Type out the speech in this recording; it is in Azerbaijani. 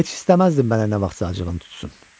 Heç istəməzdim mənə nə vaxtsa acığın tutsun.